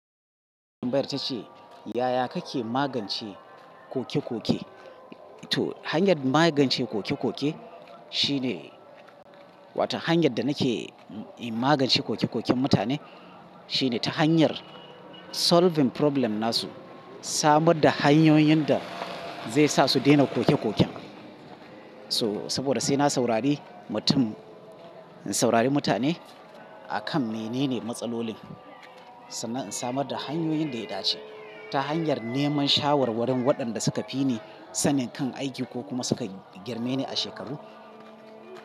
Bayar ta ce, yaya kake magance koke-koke? To, hanyar magance koke-koke shine, wato hanyar da nake magance koke-koken mutane shine ta hanyar solving problem nasu. Samar da hanyoyin da zai sa su daina koke-koken. So, saboda sai na saurari mutum, in saurari mutane akan menene matsalolin, sannan in samar da hanyoyin da ya dace ta hanyar neman shawarwarin waɗanda suka fi ni sanin kan aiki ko kuma suka girme ni a shekaru.